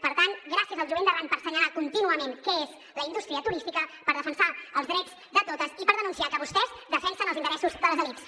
per tant gràcies al jovent d’arran per assenyalar contínuament què és la indústria turística per defensar els drets de totes i per denunciar que vostès defensen els interessos de les elits